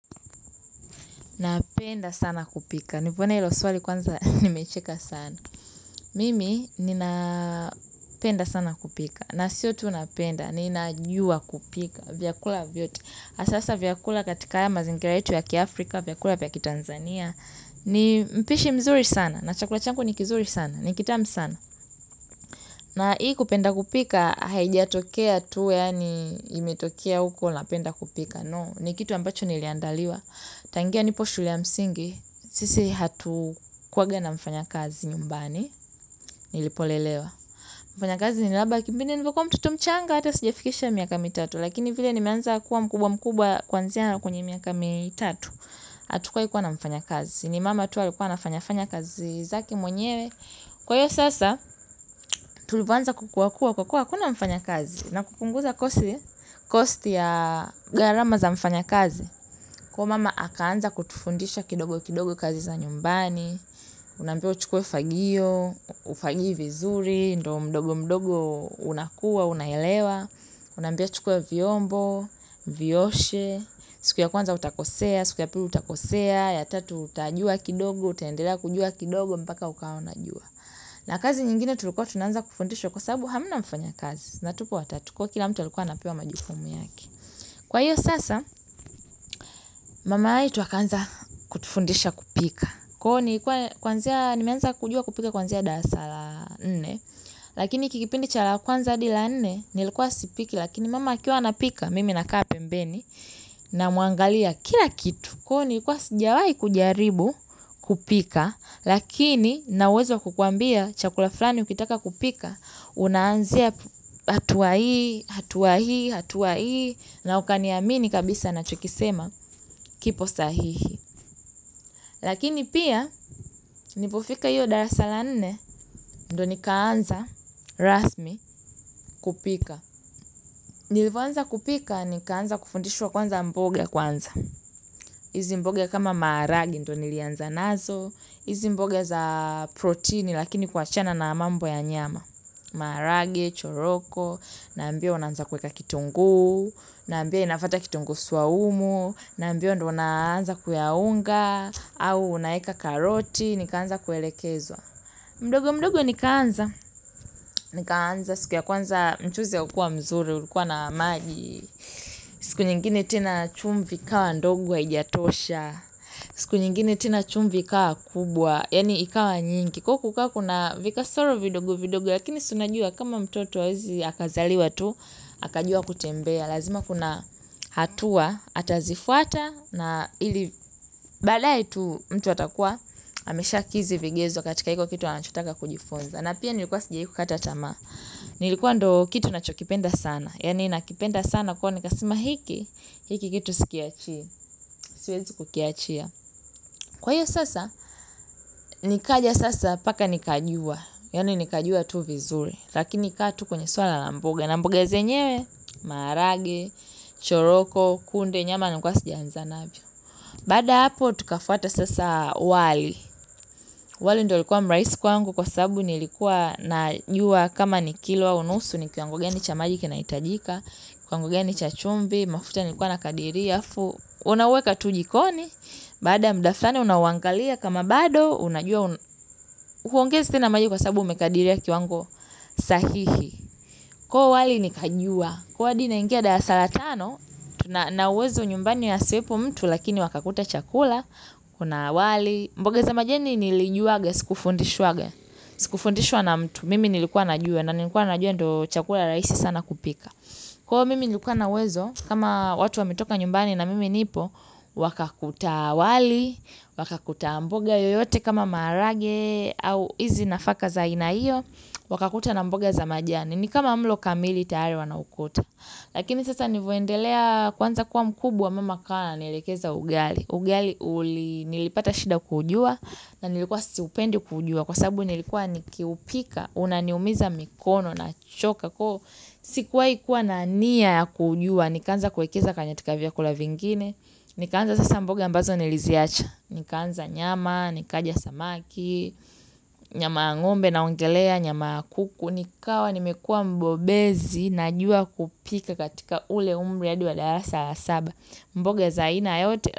Napenda sana kupika. Nimeona hilo swali kwanza nimecheka sana. Mimi ninapenda sana kupika. Na sio tu napenda. Ninajua kupika vyakula vyote hasa sasa vyakula katika ya mazingira yetu ya kiafrika, vyakula ya kiTanzania. Ni mpishi mzuri sana. Na chakula changu ni kizuri sana. Ni kitamu sana. Na hii kupenda kupika haijatokea tu yaani imetokea huko napenda kupika. No. Ni kitu ambacho niliandaliwa. Tangia nipo shule yamsingi. Sisi hatukuwaga na mfanya kazi nyumbani. Nilipolelewa mfanya kazi ni labda kipindi nilivyokuwa mtoto mchanga. Hata sijafikisha miaka mitatu. Lakini vile nimeanza kuwa mkubwa mkubwa. Kwanzia na kwenye miaka mitatu hatukuwahi kuwa na mfanya kazi. Ni mama tu alikuwa anafanya fanya kazi zake mwenyewe. Kwa hiyo sasa tulivyoanza kukuwa kuwa kwa kuwa hakuna mfanya kazi. Na kupunguza kosti ya gharama za mfanya kazi. Kwa hiyo mama akaanza kutufundisha kidogo kidogo kazi za nyumbani, unambiwa uchukue fagio, ufagie vizuri, ndo mdogo mdogo unakuwa, unaelewa, unambiwa chukua vyombo, vioshe, siku ya kwanza utakosea, siku ya pili utakosea, ya tatu utajua kidogo, utaendela kujua kidogo mpaka ukawa unajua. Na kazi nyingine tulikuwa tunaanza kufundishwa kwa sababu hamna mfanya kazi. Na tupo watatu kwa hio kila mtu alikuwa anapewa majukumu yake. Kwa hiyo sasa mama yetu akaanza kutufundisha kupika. Kwa hio nilikuwa kwanzia nimeanza kujua kupika kwanzia darasa la nne. Lakini hiki kipindi cha la kwanza hadi la nne. Nilikuwa sipiki lakini mama akiwa anapika mimi nakaa pembeni. Namwangalia kila kitu. Kwa hio nilikuwa sijawai kujaribu kupika. Lakini nina uwezo kukuambia chakula fulani ukitaka kupika. Unaanzia hatua hii hatua hii hatua hii na ukaniamini kabisa ninachokisema kipo sahihi lakini pia nilipofika hio darasa la nne ndo nikaanza rasmi kupika. Nilivyoanza kupika nikaanza kufundishwa kwanza mboga kwanza hizi mboga kama maharage ndo nilianza nazo hizi mboga za proteini lakini kuachana na mambo ya nyama maharage, choroko naambiwa unaanza kueka kitungu naambiwa inafuata kitungu saumu naambiwa ndo unaanza kuyaunga au unaeka karoti nikaanza kuelekezwa mdogo mdogo nikaanza nikaanza siku ya kwanza mchuzi haukua mzuri ulikuwa na maji siku nyingine tena chumvi ikawa ndogo haijatosha siku nyingine tena chumvi ikawa kubwa yaani ikawa nyingi kwa hiyo kukawa kuna vikasoro vidogo vidogo. Lakini si unajua kama mtoto hawezi akazaliwa tu. Akajua kutembea. Lazima kuna hatua. Atazifuata. Na ili badae tu mtu atakua. Ameshakidhi vigezo katika hiko kitu. Anachotaka kujifunza. Na pia nilikuwa sijawahi kukata tamaa. Nilikuwa ndo kitu nachokipenda sana. Yaani nakipenda sana kwa hiyo nikasema hiki. Hiki kitu sikiachi. Siwezi kukiachia. Kwa hiyo sasa. Nikaja sasa paka nikajua yaani nikajua tu vizuri. Lakini kaa tu kwenye swala na mboga. Na mboga zenyewe, maharage, choroko, kunde, nyama ndi nilikuwa sijaanza navyo. Baada hapo, tukafuata sasa wali wali ndo ulikua mrahisi kwa sababu nilikua najua kama kilo ama nusu ni kiwango gani cha maji kinahitajika kiwango gani chumvi mafuta nilikuwa nakadiria alafu unaweka tu jikoni baada ya muda fulani unaangalia kama bado. Huongezi tena maji kwa sababu umekadiria kiwango sahihi. Kwa hiyo wali nikajua, kwa hiyo hadi naingia darasa la tano, tu na uwezo nyumbani ya asiwepo mtu lakini wakakuta chakula, kuna wali. Mboga za majeni nilijuaga, sikufundishwaga, sikufundishwa na mtu, mimi nilikuwa najua na nilikuwa najua ndo chakula rahisi sana kupika. Kwa hiyo mimi nilikuwa na uwezo, kama watu wametoka nyumbani na mimi nipo, wakakuta wali, wakakuta mboga yoyote kama maharage au hizi nafaka za aina hio, wakakuta na mboga za majani. Ni kama mlo kamili tayari wanaukuta. Lakini sasa nilivyoendelea kuanza kuwa mkubwa mama akawa ananielekeza ugali. Ugali nilipata shida kujua na nilikuwa siupendi kujua. Kwa sababu nilikuwa nikiupika unaumiza mikono nachoka kwa hiyo. Sikuwahi kuwa na nia ya kujua. Nikaanza kuwekeza katika vyakula vingine. Nikaanza sasa mboga ambazo niliziacha. Nikaanza nyama, nikaja samaki, nyama ya ngombe naongelea, nyama ya kuku. Nikawa nimekua mbobezi najua kupika katika ule umri hadi wa darasa la saba mboga za aina yote.